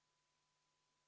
V a h e a e g